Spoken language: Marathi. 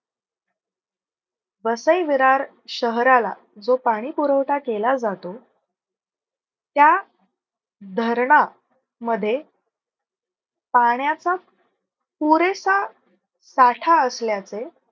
वसई विरार शहराला जो पाणी पुरवठा केला जातो. त्या धरणा मध्ये पाण्याचा पुरेसा साथ असल्याचे